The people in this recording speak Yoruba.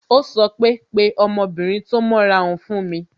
Ó sọ pé "Pe ọmọbìnrin tó mọ́ra hun fún mi"